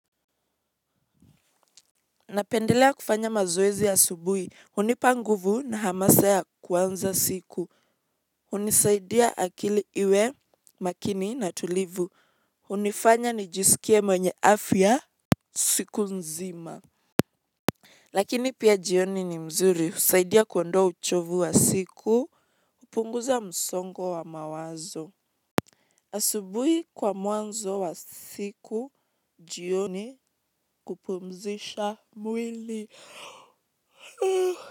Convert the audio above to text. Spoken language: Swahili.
Napendelea kufanya mazoezi asubuhi, hunipa nguvu na hamasa ya kuanza siku, hunisaidia akili iwe, makini na tulivu, hunifanya nijisikie mwenye afya siku nzima. Lakini pia jioni ni mzuri, husaidia kuondoa uchovu wa siku, kupunguza msongo wa mawazo. Asubuhi kwa mwanzo wa siku, jioni kupumzisha mwili.